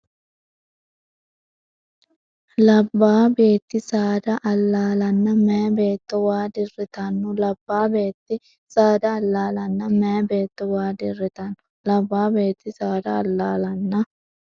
Labbaa beetti saada allaalanna meyaa beetto waa dirritanno Labbaa beetti saada allaalanna meyaa beetto waa dirritanno Labbaa beetti saada allaalanna.